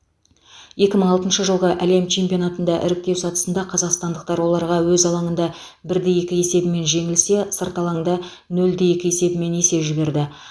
екі мың алтыншы жылғы әлем чемпионатында іріктеу сатысында қазақстандықтар оларға өз алаңында бір де екі есебімен жеңілсе сырт алаңда нөл де екі есебімен есе жіберді